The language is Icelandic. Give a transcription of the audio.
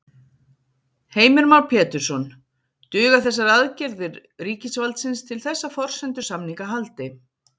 Heimir Már Pétursson: Duga þessar aðgerðir ríkisvaldsins til þess að forsendur samninga haldi?